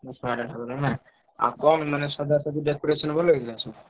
ଦଶ ବାର ଠାକୁର ନା ଆଉ କଣ ମାନେ ସଜଡା ସଜାଡି decoration ଭଲ ହେଇଥିଲା ସବୁ?